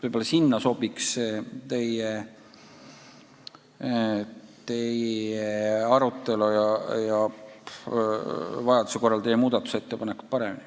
Võib-olla teise puhul sobiks teie teema arutelu ja vajaduse korral teie muudatusettepanekud paremini.